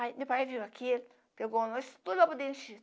Aí, meu pai viu aqui, pegou nós, tudo